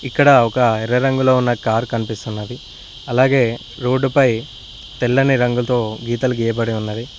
ఇక్కడ ఒక ఎర్ర రంగులో ఉన్న కారు కనిపిస్తున్నది అలాగే రోడ్డుపై తెల్లని రంగుతో గీతలు గీయబడి ఉన్నది.